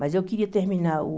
Mas eu queria terminar o...